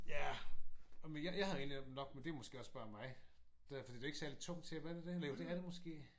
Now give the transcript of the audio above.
Ja. Jamen jeg havde egentlig nok men det er måske også bare mig der for det er ikke et særligt tungt tæppe er det det? Eller det er det måske